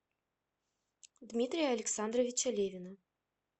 дмитрия александровича левина